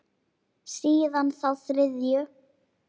Síðan þá þriðju.